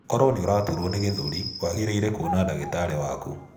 Koro nĩ ũraturo nĩ gĩthũri, wangĩrĩire kuona ndagĩtarĩ waku.